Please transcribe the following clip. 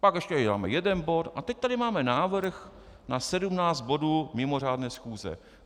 Pak ještě uděláme jeden bod a teď tady máme návrh na 17 bodů mimořádné schůze.